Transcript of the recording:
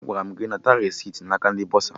Agwara m gị nata resiti na aka bọsa!